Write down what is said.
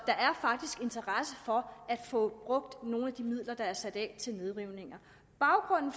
faktisk interesse for at få brugt nogle af de midler der er sat af til nedrivninger baggrunden